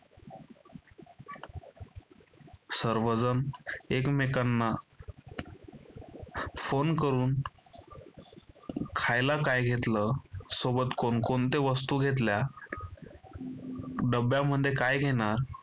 सर्वजण एकमेकांना फोन करून खायला काय घेतलं सोबत कोण कोणत्या वस्तू घेतल्या? डब्यामध्ये काय घेणार?